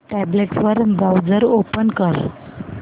tablet वर browser open कर